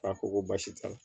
A ko ko baasi t'a la